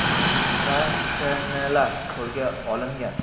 va S.N.lar qo‘lga olingan.